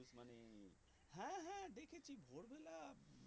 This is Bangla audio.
হ্যাঁ হ্যাঁ দেখেছি ভোরবেলা